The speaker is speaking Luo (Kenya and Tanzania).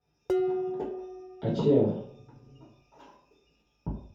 Achiel